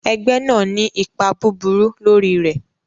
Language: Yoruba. Ẹgbẹ́ náà ní ipa búburú lórí rẹ̀.